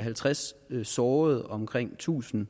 halvtreds sårede og omkring tusind